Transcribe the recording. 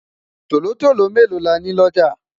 tòlótòló melo là ní looja?